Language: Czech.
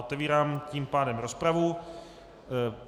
Otevírám tím pádem rozpravu.